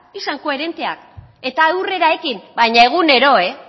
izan koherenteak eta aurrera ekin baina egunero